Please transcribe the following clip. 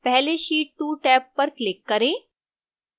पहले sheet 2 tab पर click करें